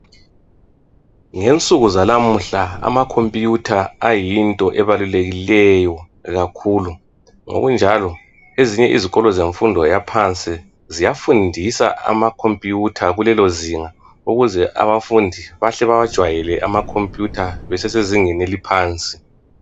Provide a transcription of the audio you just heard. Ngensuku zanamuhla amakhompuyutha ayinto ebalulekileyo kakhulu ngokunjalo ezinye izikolo zemfundo yaphansi ziyafundisa amakhompuyutha kulelo zinga ukuze abafundi bahle bewajwayele amakhompuyutha besesezingeni eliphansi.